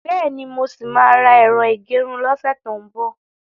Bẹ́ẹ̀ni, mo ṣì máa ra ẹ̀rọ ìgẹrun lọ́sẹ̀ tó ń bò.